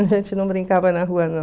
A gente não brincava na rua, não.